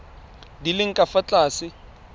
di leng ka fa tlase